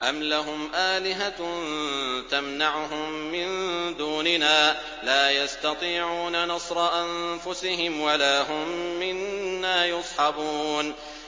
أَمْ لَهُمْ آلِهَةٌ تَمْنَعُهُم مِّن دُونِنَا ۚ لَا يَسْتَطِيعُونَ نَصْرَ أَنفُسِهِمْ وَلَا هُم مِّنَّا يُصْحَبُونَ